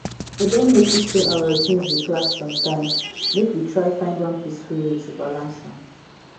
i don notice say our routines dey clash sometimes make we try find one peaceful way to balance am